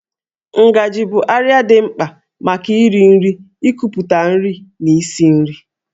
Ngajị bụ àrịá dị mkpa maka iri nri, ikuputa nri na isi nri